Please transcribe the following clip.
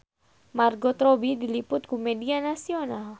Margot Robbie diliput ku media nasional